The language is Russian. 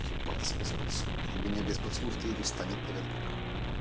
ебаться без поцелуев у меня без поцелуев то и не встанет наверняка